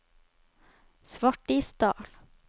Svartisdal